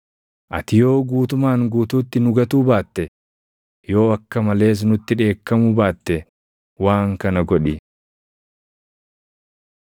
Ati yoo guutumaan guutuutti nu gatuu baatte, yoo akka malees nutti dheekkamuu baatte waan kana godhi.